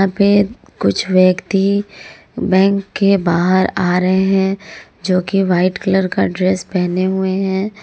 कुछ व्यक्ति बैंक के बाहर आ रहे हैं जो की वाइट कलर का ड्रेस पहने हुए हैं।